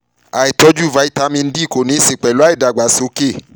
àìtójú vitamin d kò ní í ṣe pẹ̀lú ìdàgbàsókè svt